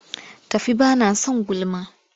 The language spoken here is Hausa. Tafi ba na son gulma!